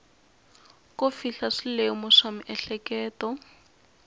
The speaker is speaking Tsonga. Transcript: ko fihla swilemu swa miehleketo